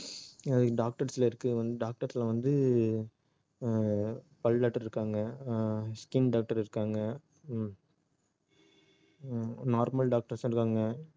இது doctors ல இருக்கு doctors ல வந்து ஆஹ் பல் doctor இருக்காங்க ஆஹ் skin doctor இருக்காங்க ஹம் ஹம் normal doctors உம் இருக்காங்க